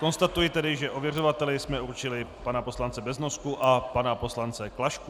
Konstatuji tedy, že ověřovateli jsme určili pana poslance Beznosku a pana poslance Klašku.